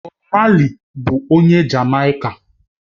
Bob Marley bụ onye Jamaica